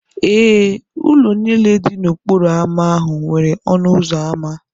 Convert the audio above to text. Ee, ụlọ niile dị n'okporo ámá ahụ nwere ọnụ ụzọ ámá.